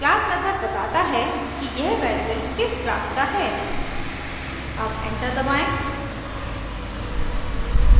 class method बताता है कि यह वेरिएबल किस क्लास का है अब एंटर दबाएं